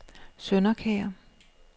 Sønderkær